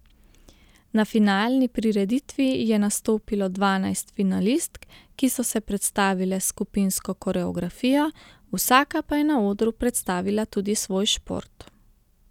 Na finalni prireditvi je nastopilo dvanajst finalistk, ki so se predstavile s skupinsko koreografijo, vsaka pa je na odru predstavila tudi svoj šport.